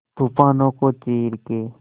तूफानों को चीर के